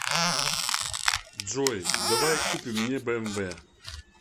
джой давай купим мне бмв